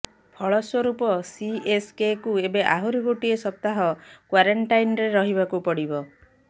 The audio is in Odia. ଫଳସ୍ବରୂପ ସିଏସକେକୁ ଏବେ ଆହୁରି ଗୋଟିଏ ସପ୍ତାହ କ୍ବାରେଣ୍ଟାଇନ୍ରେ ରହିବାକୁ ପଡିବ